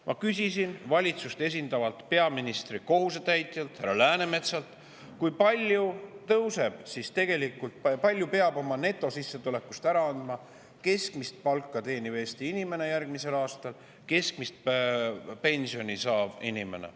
Ma küsisin valitsust esindavalt peaministri kohusetäitjalt härra Läänemetsalt, kui palju peab järgmisel aastal oma netosissetulekust ära andma keskmist palka teeniv Eesti inimene ja keskmist pensioni saav inimene.